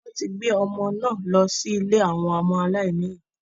Wọ́n ti gbé ọmọ náà lọ sí ilé àwọn ọmọ aláìní ìyá